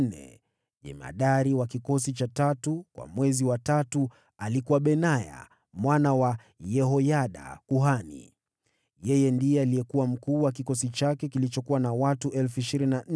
Jemadari wa kikosi cha tatu kwa mwezi wa tatu alikuwa Benaya mwana wa kuhani Yehoyada. Ndiye alikuwa mkuu wa kikosi chake kilichokuwa na watu 24,000.